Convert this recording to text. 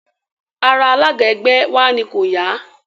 Ara alága ẹgbẹ́ ẹ wa ni kò ya